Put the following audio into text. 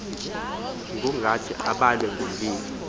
ngokungathi abhalwe ngomlilo